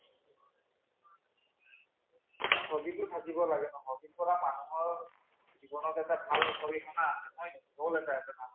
এই hobby টো থাকিব লাগে hobby ৰ পৰা মানুহৰ জীৱনত এটা ভাল আছে হয় নে নহয় goal এটা আছে ।